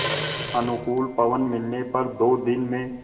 अनुकूल पवन मिलने पर दो दिन में